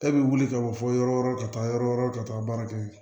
E bɛ wuli ka bɔ fɔ yɔrɔ wɛrɛw ka taa yɔrɔ wɛrɛ ka taa baara kɛ